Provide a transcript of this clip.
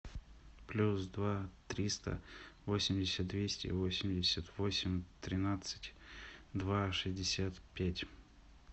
плюс два триста восемьдесят двести восемьдесят восемь тринадцать два шестьдесят пять